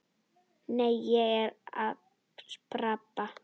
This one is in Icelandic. Nei, ég er að spara.